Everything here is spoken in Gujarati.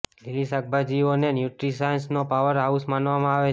લીલી શાકભાજીઓ ને ન્યુટ્રીશાંસ નો પાવર હાઉસ માનવામાં આવે છે